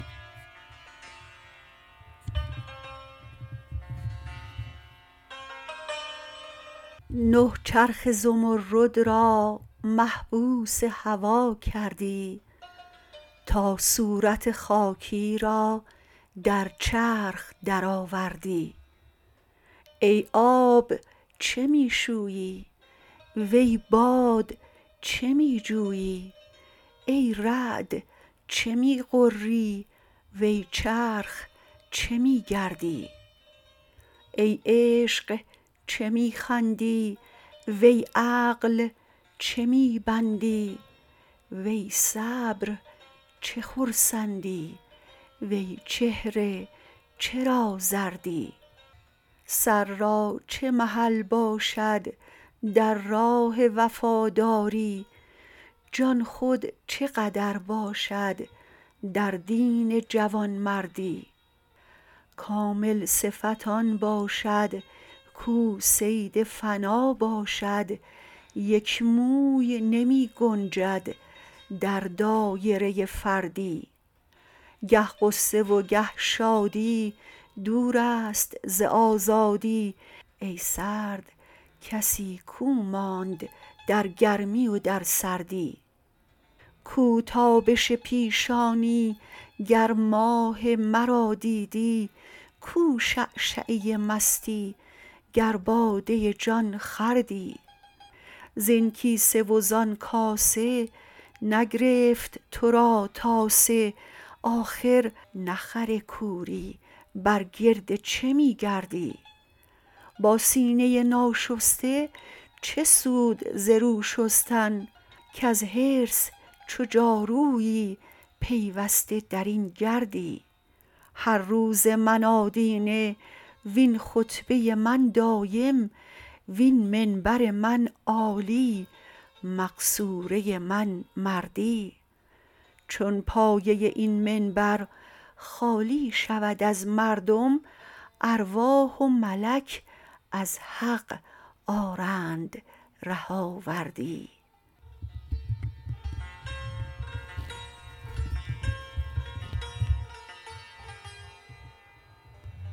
نه چرخ زمرد را محبوس هوا کردی تا صورت خاکی را در چرخ درآوردی ای آب چه می شویی وی باد چه می جویی ای رعد چه می غری وی چرخ چه می گردی ای عشق چه می خندی وی عقل چه می بندی وی صبر چه خرسندی وی چهره چرا زردی سر را چه محل باشد در راه وفاداری جان خود چه قدر باشد در دین جوانمردی کامل صفت آن باشد کو صید فنا باشد یک موی نمی گنجد در دایره فردی گه غصه و گه شادی دور است ز آزادی ای سرد کسی کو ماند در گرمی و در سردی کو تابش پیشانی گر ماه مرا دیدی کو شعشعه مستی گر باده جان خوردی زین کیسه و زان کاسه نگرفت تو را تاسه آخر نه خر کوری بر گرد چه می گردی با سینه ناشسته چه سود ز رو شستن کز حرص چو جارویی پیوسته در این گردی هر روز من آدینه وین خطبه من دایم وین منبر من عالی مقصوره من مردی چون پایه این منبر خالی شود از مردم ارواح و ملک از حق آرند ره آوردی